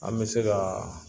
An bɛ se kaa